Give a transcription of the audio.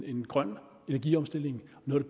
en grøn energiomstilling noget